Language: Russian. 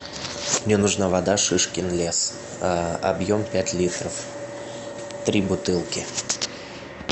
мне нужна вода шишкин лес объем пять литров три бутылки